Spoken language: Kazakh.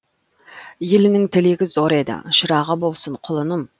елінің тілегі зор еді шырағы болсын құлыным